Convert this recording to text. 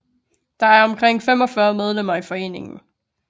Der er omkring 45 medlemmer i foreningen